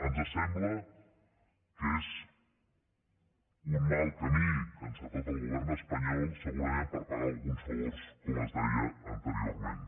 ens sembla que és un mal camí que ha encetat el govern espanyol segurament per pagar alguns favors com es deia anteriorment